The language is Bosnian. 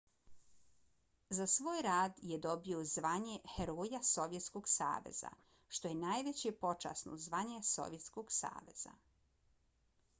za svoj rad je dobio zvanje heroja sovjetskog saveza što je najveće počasno zvanje sovjetskog saveza